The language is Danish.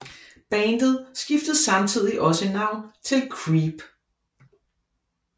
Bandet skiftede samtidigt også navn til Creep